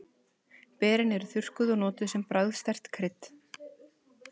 Berin eru þurrkuð og notuð sem bragðsterkt krydd.